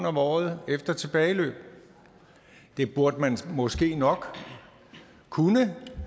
om året efter tilbageløb det burde man måske nok kunne